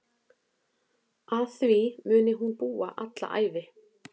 Að því muni hún búa alla ævi.